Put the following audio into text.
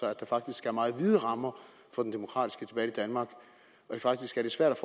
er faktisk meget vide rammer for den demokratiske debat i danmark og faktisk er det svært